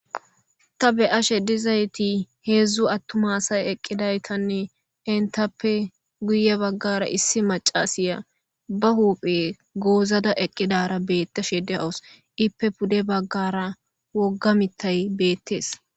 ta be7ashe dizayti heedzdzu attuma asay eqqidaytanne entappe guye baggara issi macasiya ba huphe goozada eqqidara beetta shede awus ippe pude baggara wogga mittay beettees.